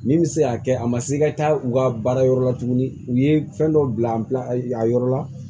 Min bɛ se k'a kɛ a ma se i ka taa u ka baara yɔrɔ la tuguni u ye fɛn dɔ bila a yɔrɔ la